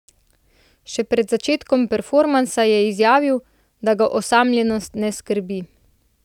Še pred začetkom performansa je izjavil, da ga osamljenost ne skrbi.